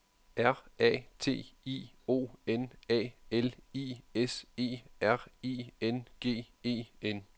R A T I O N A L I S E R I N G E N